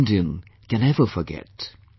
No Indian can ever forget